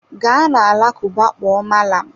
Gaa na alakụba kpọọ malam!